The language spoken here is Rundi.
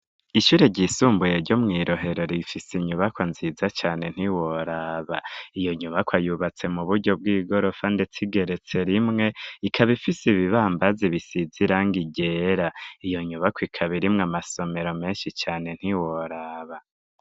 Ishure ry'isumbuye ryo mwirohero rifise inyubako nziza cane ntiworaba, iyo nyubako yubatse mu buryo bw'igorofa ndetse igeretse rimwe ikaba ifise ibibambazi bisize irangi ryera iyo nyubako ikaba irimwo amasomero menshi cane ntiworaba.